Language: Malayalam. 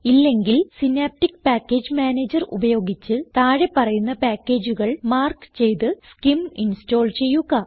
ഇല്ലെങ്കിൽ സിനാപ്റ്റിക് പാക്കേജ് മാനേജർ ഉപയോഗിച്ച് താഴെ പറയുന്ന പാക്കേജുകൾ മാർക്ക് ചെയ്ത് സ്കിം ഇൻസ്റ്റോൾ ചെയ്യുക